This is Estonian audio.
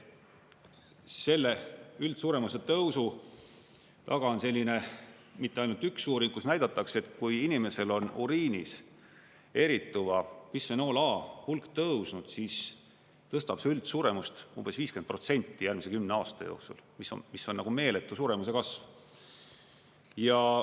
Selle üldsuremuse tõusu taga on selline mitte ainult üks uuring, kus näidatakse, et kui inimesel on uriinis erituva bisfenool A hulk tõusnud, siis tõstab see üldsuremust umbes 50% järgmise kümne aasta jooksul, mis on meeletu suremuse kasv.